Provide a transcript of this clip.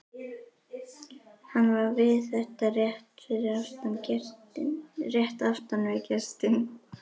Hann var við þetta rétt aftan við gestinn.